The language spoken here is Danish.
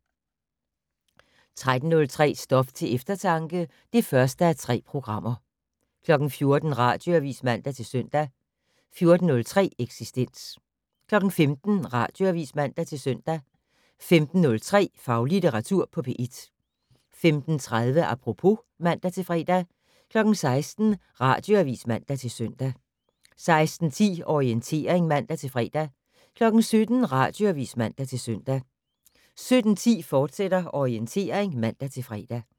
13:03: Stof til eftertanke (1:3) 14:00: Radioavis (man-søn) 14:03: Eksistens 15:00: Radioavis (man-søn) 15:03: Faglitteratur på P1 15:30: Apropos (man-fre) 16:00: Radioavis (man-søn) 16:10: Orientering (man-fre) 17:00: Radioavis (man-søn) 17:10: Orientering, fortsat (man-fre)